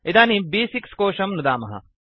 इदानीं ब्6 कोशं नुदामः